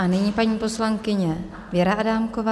A nyní paní poslankyně Věra Adámková.